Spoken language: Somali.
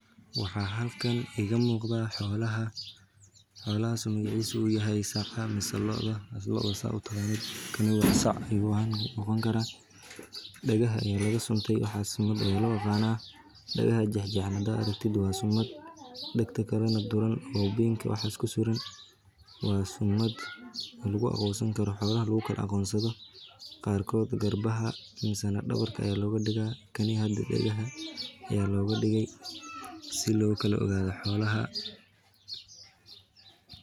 Waxa halkan iga muqdaa xollaha. xollahas migiisa uu yahay sacya misoo looda asolooda sautakani waa sacay u ahan ogan kara. Dhagaha ayaa laga suntay waxaas mad caylo oo qaana dhagaha jajjana da' arrintida. Waa summad degdega karnaa dooran haboobeenka. Waxaasku siren waa summad lagugu awoosan karo xagga luuqad aqoonsada baarkood. Garbaha insaanid dhawarka ayaa looga dhigaa kani hadid degaha ayaa looga dhigay si loo kalo gada xollaha.